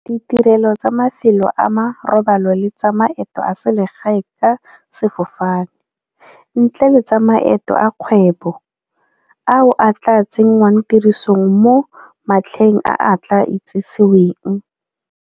Ditirelo tsa mafelo a marobalo le tsa maeto a selegae ka sefofane, ntle le tsa maeto a kgwebo, ao a tla tsenngwang tirisong mo matlheng a a tla itsiseweng.